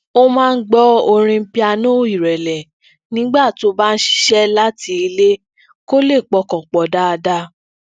ó máa ń gbọ orin piano irẹlẹ nígbà tó bá ń ṣiṣẹ láti ilé kó lè pọkàn pọ dáadáa